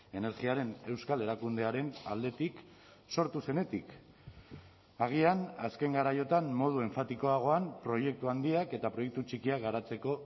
energiaren euskal erakundearen aldetik sortu zenetik agian azken garaiotan modu enfatikoagoan proiektu handiak eta proiektu txikiak garatzeko